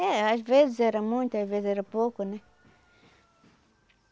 É, às vezes era muita, às vezes era pouco, né?